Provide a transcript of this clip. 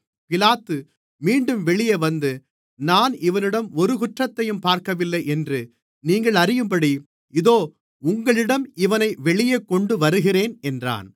பிலாத்து மீண்டும் வெளியே வந்து நான் இவனிடம் ஒரு குற்றத்தையும் பார்க்கவில்லை என்று நீங்கள் அறியும்படி இதோ உங்களிடம் இவனை வெளியே கொண்டு வருகிறேன் என்றான்